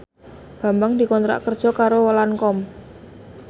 Bambang dikontrak kerja karo Lancome